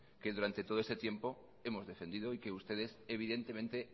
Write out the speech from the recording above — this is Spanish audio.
que durante todo este tiempo hemos defendido y que ustedes evidentemente